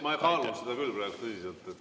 Ma kaalun seda küll praegu tõsiselt.